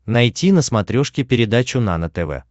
найти на смотрешке передачу нано тв